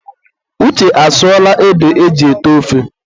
Uche asụọla ede eji ete ofe.